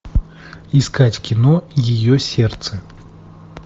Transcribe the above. искать кино ее сердце